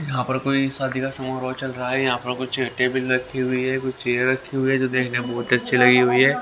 यहां पर कोई शादी का समूह चल रहा है यहां पर कुछ टेबल रखी हुई है कुछ चेयर रखी हुई है जो देखने में बहुत अच्छी लगी हुई है.